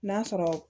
N'a sɔrɔ